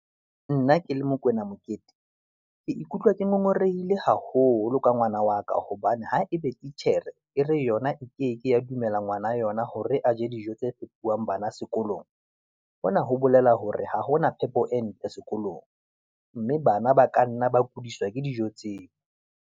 Nna ke le Mokoena Mokete, ke ikutlwa ke ngongorehile haholo ka ngwana wa ka, hobane ha ebe titjhere e re yona e ke ke ya dumela ngwana yona hore a je dijo tse fepuwang bana sekolong, hona ho bolela hore ha hona phepo e ntle sekolong. Mme bana ba ka nna ba kudiswa ke dijo tseo.